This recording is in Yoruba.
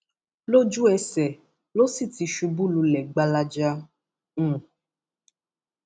lójúẹsẹ ló sì ti ṣubú lulẹ gbalaja um